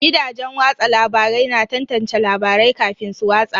Gidajen watsa labarai na tantance labarai kafin su watsa.